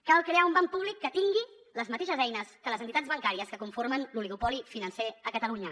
cal crear un banc públic que tingui les mateixes eines que les entitats bancàries que conformen l’oligopoli financer a catalunya